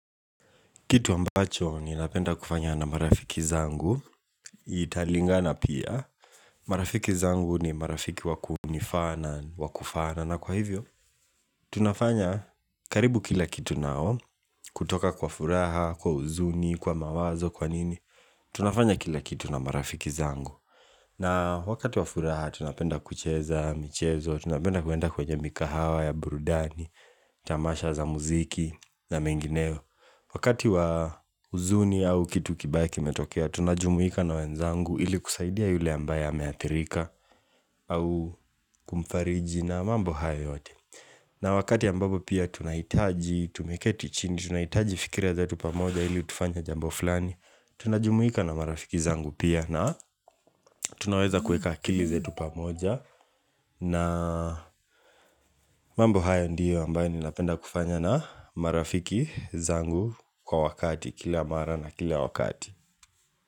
Kitu ambacho ninapenda kufanya na marafiki zangu Italingana pia marafiki zangu ni marafiki wakunifaa na Wakufaana na kwa hivyo tunafanya karibu kila kitu nao kutoka kwa furaha, kwa huzuni, kwa mawazo, kwa nini tunafanya kila kitu na marafiki zangu na wakati wa furaha tunapenda kucheza, michezo Tunapenda kuenda kwenye mikahawa ya burudani Tamasha za muziki na mengineo Wakati wa huzuni au kitu kibaya kimetokea, tunajumuika na wenzangu ili kusaidia yule ambaye ameathirika au kumfariji na mambo haya yote na wakati ambapo pia tunahitaji tumeketi chini, tunahitaji fikira zetu pamoja ili tufanye jambo fulani Tunajumuika na marafiki zangu pia na tunaweza kueka akili zetu pamoja na mambo haya ndiyo ambayo ninapenda kufanya na marafiki zangu kwa wakati kila mara na kila wakati.